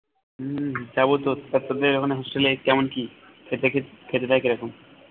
উম যাবো তো তা তোদের ওখানে hostel এ কেমন কি খেতে খেতে খেতে দেয় কিরকম